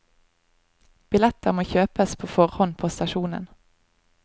Billetter må kjøpes på forhånd på stasjonen.